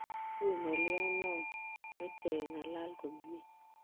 Wui ng'olyonoo meche keng'alal komnyie